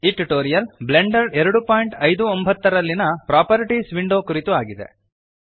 ಈ tutorial Blender 259 ನಲ್ಲಿಯ properties window ಕುರಿತು ಆಗಿದೆ